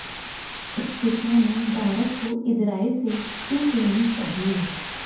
इस विषय में भारत को इजराइल से सीख लेनी चाहिए